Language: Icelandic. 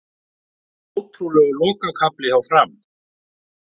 Ótrúlegur lokakafli hjá Fram